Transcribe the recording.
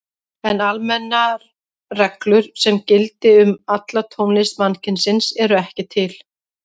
En almennar reglur sem gildi um alla tónlist mannkynsins eru ekki til.